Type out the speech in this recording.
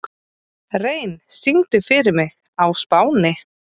Rein, syngdu fyrir mig „Á Spáni“.